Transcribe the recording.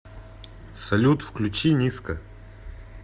салют включи ниска